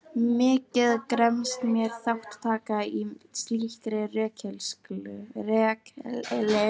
Mikið gremst mér þátttaka í slíkri rökleysu.